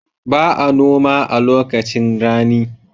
Ba a noma a lokacin rani.